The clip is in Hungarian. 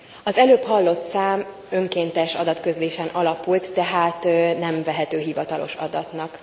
Az előbb hallott szám önkéntes adatközlésen alapult, tehát nem vehető hivatalos adatnak.